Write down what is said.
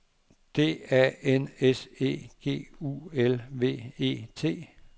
D A N S E G U L V E T